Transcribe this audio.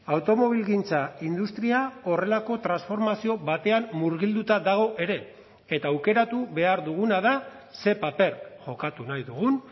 automobilgintza industria horrelako transformazio batean murgilduta dago ere eta aukeratu behar duguna da ze paper jokatu nahi dugun